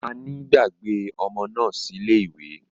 Naní gbàgbé ọmọ náà sílè ìwẹ̀